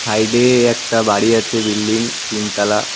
সাইডে একটা বাড়ি আছে বিল্ডিং তিনতলা।